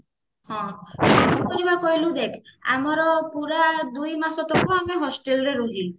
ହଁ କଣ କରିବା କହିଲୁ ଦେଖ ଆମର ପୁରା ଦୁଇ ମାସ ତଳେ ନୁହ ଆମେ hostel ରେ ରହିଲୁଣି